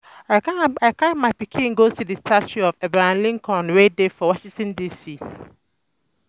I um carry my pikin go see the statue um of Abraham Lincoln wey dey for Washington D.C